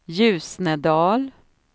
Ljusnedal